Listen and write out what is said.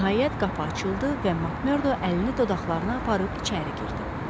Nəhayət qapı açıldı və Makmerdo əlini dodaqlarına aparıb içəri girdi.